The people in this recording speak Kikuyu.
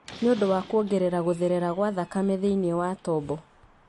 nĩ ũndũ wa kuongerera gũtherera gwa thakame thĩinĩ wa tombo.